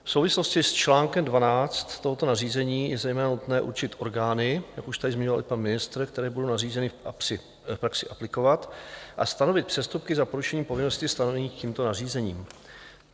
V souvislosti s článkem 12 tohoto nařízení je zejména nutné určit orgány, jak už tady zmiňoval i pan ministr, které budou nařízení v praxi aplikovat, a stanovit přestupky za porušení povinností stanovených tímto nařízením.